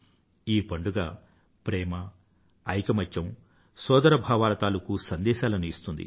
ఈ పండుగ ప్రేమ ఐకమత్యం సోదర భావాల తాలూకూ సందేశాలను ఇస్తుంది